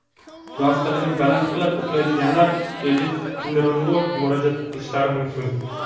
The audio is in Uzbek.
Yostig‘ini baland qilib uxlaydiganlar endokrinologga murojaat qilishlari mumkin.